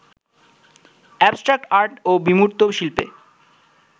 abstract art বা বিমূর্ত শিল্পে